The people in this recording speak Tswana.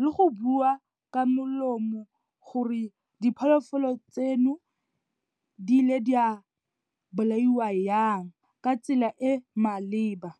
le go bua ka molomo, gore dipholofolo tseno, di ile di a bolaiwa yang, ka tsela e maleba.